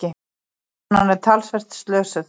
Konan er talsvert slösuð.